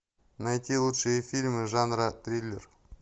найти лучшие фильмы жанра триллер